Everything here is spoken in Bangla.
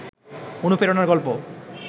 অনুপ্রেরণার গল্প